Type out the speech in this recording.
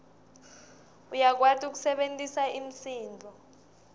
uyakwati kusebentisa imisindvo